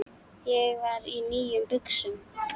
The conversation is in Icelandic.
Ég var í nýjum buxum.